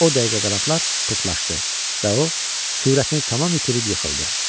O dəqiqə qanadlar pırtlaşdı və o sürətini tam itirib yıxıldı.